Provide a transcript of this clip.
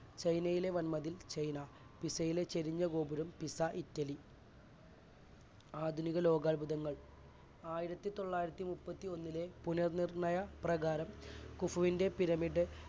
ചൈനയിലെ വൻ മതിൽ ചൈന, പിസയിലെ ചെരിഞ്ഞ ഗോപുരം പിസ ഇറ്റലി. ആധുനിക ലോകാത്ഭുതങ്ങൾ ആയിരത്തിതൊള്ളായിരത്തിമുപ്പത്തിഒന്നിലെ പുനർ നിർണയ പ്രകാരം കുഫുവിന്റ്റെ പിരമിഡ്